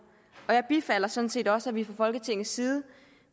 jeg bifalder sådan set også at vi fra folketingets side